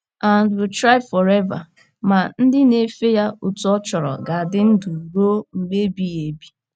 nd, will thrive forever! Ma, ndị na - efe ya otú ọ chọrọ ga - adị ndụ ruo mgbe ebighị ebi.